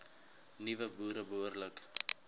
nuwe boere behoorlik